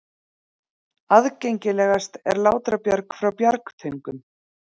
Aðgengilegast er Látrabjarg frá Bjargtöngum.